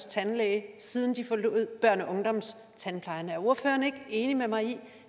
tandlæge siden de forlod børne og ungdomstandplejen er ordføreren ikke enig med mig i